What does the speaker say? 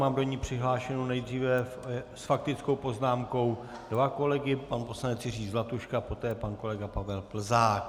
Mám do ní přihlášené nejdříve s faktickou poznámkou dva kolegy, pan poslanec Jiří Zlatuška, poté pan kolega Pavel Plzák.